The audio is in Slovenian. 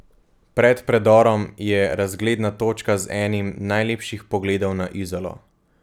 Pred predorom je razgledna točka z enim najlepših pogledov na Izolo.